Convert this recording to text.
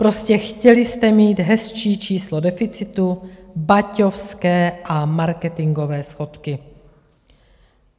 Prostě chtěli jste mít hezčí číslo deficitu, baťovské a marketingové schodky.